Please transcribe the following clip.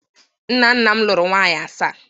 nna nna m lụrụ nwunye asaa